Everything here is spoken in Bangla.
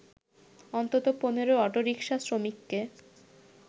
অন্তত ১৫ অটোরিকশা শ্রমিককে